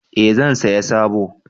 Eh zan saya sabo